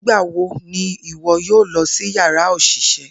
Nigbawo ni iwọ yoo lọ si yara oṣiṣẹ?